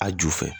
A ju fɛ